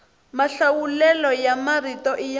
mahlawulelo ya marito i ya